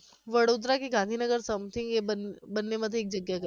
વડોદરા કે ગાંધીનગર something એ બંને બંનેમાંથી એક જગ્યા એ ગઈ